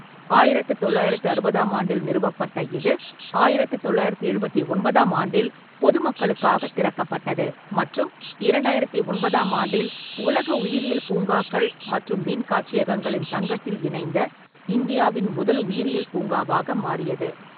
ஆயிரத்து தொள்ளாயிரத்து அறுபதாம் ஆண்டில் நிறுவப்பட்ட இது, ஆயிரத்து தொள்ளாயிரத்து எழுபத்தி ஒன்பதாம் ஆண்டில் பொது மக்களுக்காக திறக்கப்பட்டது மற்றும் இரண்டாயிரத்து ஒன்பதாம் ஆண்டில் உலக உயிரியல் பூங்காக்கள் மற்றும் மீன் காட்சியகங்களின் சங்கத்தில் இணைந்த இந்தியாவின் முதல் உயிரியல் பூங்காவாக மாறியது.